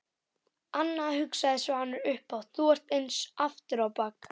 Anna, hugsaði Svanur upphátt, þú ert eins aftur á bak.